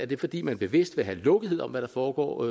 det er fordi man bevidst vil have lukkethed om hvad der foregår